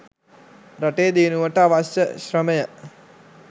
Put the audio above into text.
රටේ දියුණුවට අවශ්‍ය ශ්‍රමය